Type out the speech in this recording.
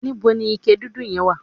íbo ni ike dúdú yẹn wà?